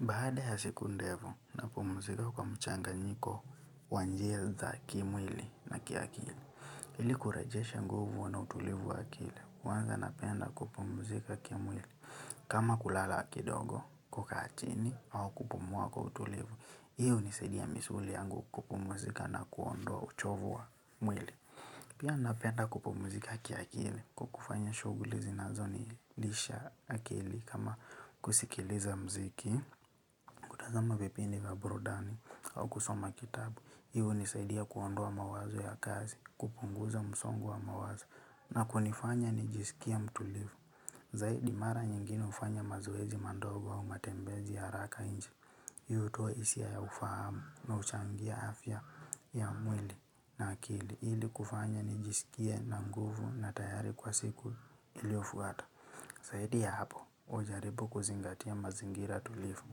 Baada ya siku ndevu, napumzika kwa mchanganyiko kwa njia za kiwili na kiakili. Hmili kurejesha nguvu wa na utulivu wa akili. Kwanza napenda kupumzika kimwili. Kama kulala kidogo, kukaa chini, au kupumua kwa utulivu. Hiyo hunisadia misuli yangu kupumzika na kuondoa uchovu wa mwili. Pia napenda kupumzika kiakili kwa kufanya shuguli zinazo nilisha akili kama kusikiliza mziki. Kutazama vipindi wa burudani au kusoma kitabu, hivohunisaidia kuondua mawazo ya kazi, kupunguza msongo wa mawazo na kunifanya nijisikia mtulifu. Zaidi mara nyingine ufanya mazoezi madogo wa matembezi ya araka inji. Hii hutoa hisia ya ufahamu na uchangia afya ya mwili na akili. Ili kufanya nijisikie na nguvu na tayari kwa siku iliofuata. Saidi ya hapo, ujaribu kuzingatia mazingira tulifu.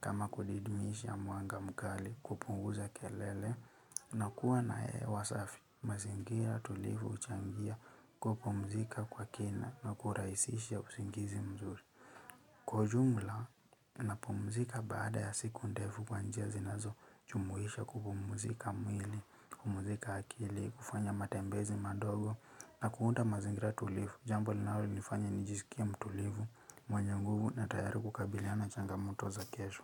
Kama kudididisha mwanga mkali kupunguza kelele na kuwa na hewa safi mazingira tulifu uchangia kupumzika kwa kina na kuraisisha usingizi mzuri. Kwa ujumla, napumzika baada ya siku ndefu kwa njia zinazojumuisha kupumzika mwili, kupumzika akili, kufanya matembezi madogo na kuunda mazingira tulifu. Jambo linalonifanya nijizikia mtulivu, mwenye nguvu na tayari kukabiliana changamoto za kesho.